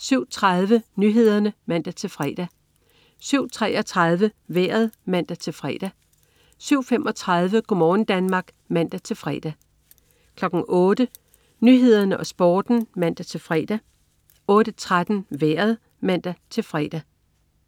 07.30 Nyhederne (man-fre) 07.33 Vejret (man-fre) 07.35 Go' morgen Danmark (man-fre) 08.00 Nyhederne og Sporten (man-fre) 08.13 Vejret (man-fre)